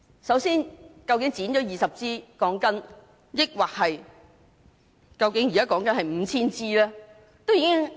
首先，究竟被剪的鋼筋是20枝還是 5,000 枝？